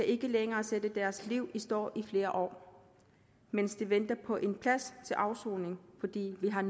ikke længere sat deres liv i stå i flere år mens de venter på en plads til afsoning fordi vi har